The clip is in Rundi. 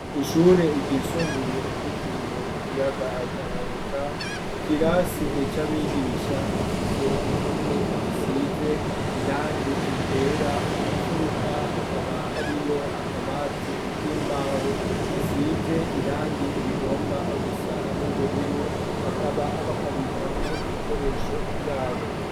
Kw'ishure ryisumbuye ryitiriwe ikiyaga atankanika ikirasi ec abigisha gifise impome zisize irangi ryera mu mfuruka hakaba hariyo akaba ati ik'imbaho gasize irangi rigomba gusa n'ubururu bakaba bakabikamwo ibikoresho vyabo.